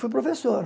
Fui professor.